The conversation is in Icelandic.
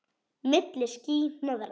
Milli ský- hnoðra.